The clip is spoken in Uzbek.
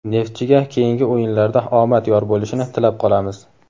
"Neftchi"ga keyingi o‘yinlarda omad yor bo‘lishini tilab qolamiz!.